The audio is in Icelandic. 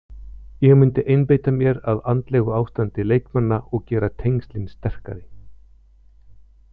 Ég myndi einbeita mér að andlegu ástandi leikmanna og gera tengslin sterkari.